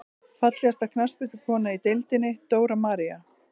Fallegasta knattspyrnukonan í deildinni: Dóra María.